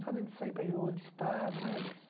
Nada de sair para ir em outro estado, nada disso.